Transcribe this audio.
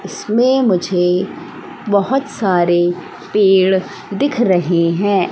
इसमें मुझे बहोत सारे पेड़ दिख रहे हैं।